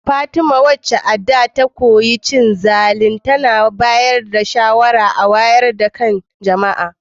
Fatima, wacce a da ta taba cin zali, a yanzu tana bayar da shawarar wayar da kan jama’a